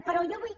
però jo vull